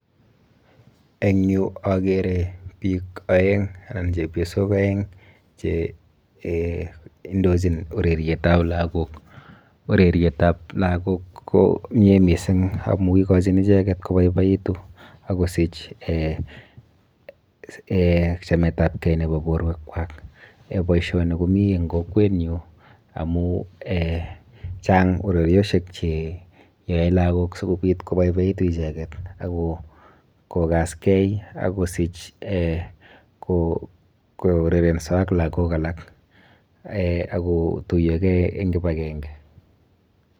Eng yu akere biik aeng anan chebiosok aeng che eeh indochin urerietab lakok ,urerietab lakok ko mie mising amun ikochin icheket koboiboitu, akosich eeh chametabge en borwekwak, boisioni komii en kokwenyun amun eeh chang ureriosiek cheyoe lakok sikopit koboiboekitu icheket akokaske akosich kourerenso ak lakok alak akotuiyoke kipakenge.